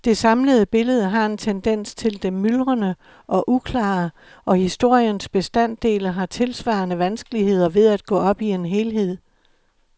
Det samlede billede har en tendens til det myldrende og uklare, og historiens bestanddele har tilsvarende vanskeligheder ved at gå op i en helhed.